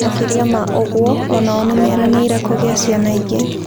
Makĩria ma ũguo, o nao nĩ meranĩire kũgĩa ciana ingĩ.